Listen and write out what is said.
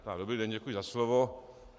Dobrý den, děkuji za slovo.